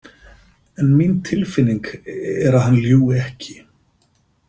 En mín tilfinning er að hann ljúgi ekki.